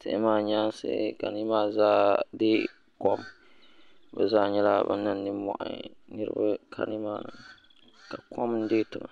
tihi maa nyaansi ka numaa zaa deei kom bi zaa nyɛla bin niŋ nimmohi niraba ka nimaani ka kom n deei tiŋa